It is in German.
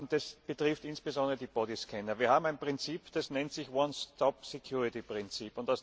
Das betrifft insbesondere die Bodyscanner. Wir haben ein Prinzip, das nennt sich Prinzip.